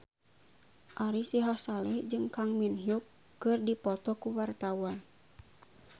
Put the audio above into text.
Ari Sihasale jeung Kang Min Hyuk keur dipoto ku wartawan